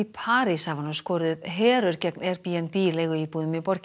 París hafa nú skorið upp herör gegn Airbnb leiguíbúðum í borginni